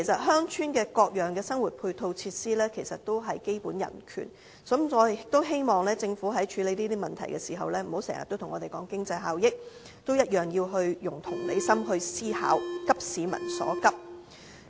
鄉村的各樣生活配套設施同樣也是基本人權，我希望政府處理這些問題時，不要經常跟我們說經濟效益，同樣要用同理心思考，急市民所急。